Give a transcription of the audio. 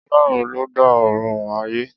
Ọlọ́run ló dá Ọ̀run òun ayé.